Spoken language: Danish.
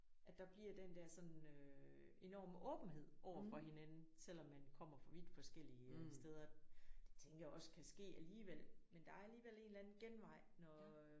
At der bliver den der sådan øh enorme åbenhed overfor hinanden selvom man kommer fra vidt forskellige steder. Det tænker jeg også kan ske alligevel men der er alligevel en eller anden genvej når